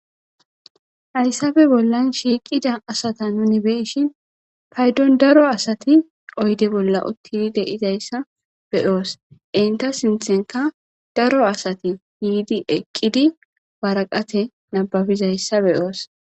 Hayssabe bollan shiiqida asata nuni beshin paydon daro asati oyde bolla uttidi deizayssa beyoos inta sinthenka daro asati yiidi eqqidi waraqate nababizayssabeyoos